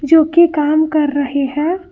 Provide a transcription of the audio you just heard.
क्योंकि काम कर रहे हैं।